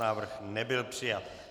Návrh nebyl přijat.